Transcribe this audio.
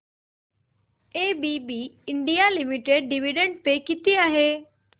ABB India limited dividend pay किती आहे